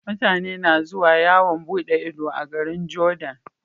Mutane na zuwa yawan buɗe Ido a garin jordan